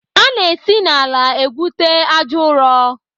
Ana esi n'ala egwute àjà ụrọ.